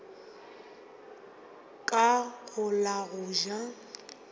ka go la go ja